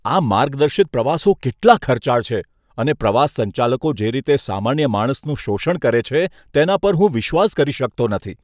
આ માર્ગદર્શિત પ્રવાસો કેટલા ખર્ચાળ છે અને પ્રવાસ સંચાલકો જે રીતે સામાન્ય માણસનું શોષણ કરે છે, તેના પર હું વિશ્વાસ કરી શકતો નથી.